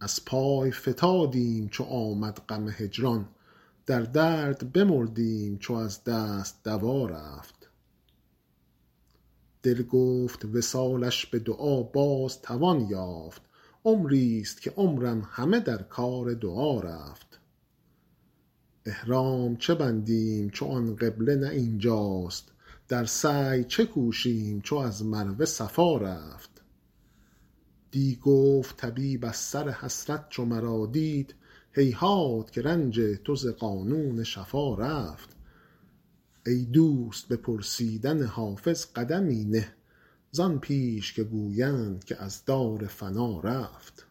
از پای فتادیم چو آمد غم هجران در درد بمردیم چو از دست دوا رفت دل گفت وصالش به دعا باز توان یافت عمریست که عمرم همه در کار دعا رفت احرام چه بندیم چو آن قبله نه این جاست در سعی چه کوشیم چو از مروه صفا رفت دی گفت طبیب از سر حسرت چو مرا دید هیهات که رنج تو ز قانون شفا رفت ای دوست به پرسیدن حافظ قدمی نه زان پیش که گویند که از دار فنا رفت